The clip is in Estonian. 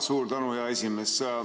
Suur tänu, hea esimees!